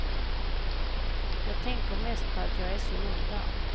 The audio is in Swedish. Jag tänker mest på att jag är så ung där.